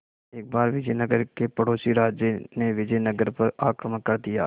एक बार विजयनगर के पड़ोसी राज्य ने विजयनगर पर आक्रमण कर दिया